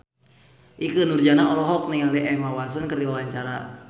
Ikke Nurjanah olohok ningali Emma Watson keur diwawancara